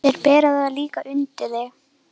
Þeir bera það líklega undir þig.